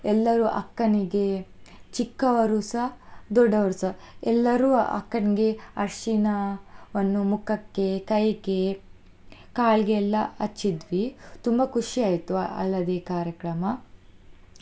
ಎಲ್ಲರೂ ಅಕ್ಕನಿಗೆ ಚಿಕ್ಕವರುಸ ದೊಡ್ಡವರುಸ ಎಲ್ಲರೂ ಅಕ್ಕನ್ಗೆ ಅರಿಶಿಣವನ್ನು ಮುಖಕ್ಕೆ, ಕೈಗೆ, ಕಾಲ್ಗೆ ಎಲ್ಲಾ ಹಚ್ಚಿದ್ವಿ, ತುಂಬಾ ಖುಷಿ ಆಯ್ತು ಹಳದಿ ಕಾರ್ಯಕ್ರಮ.